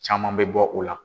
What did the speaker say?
Caman bɛ bɔ o la.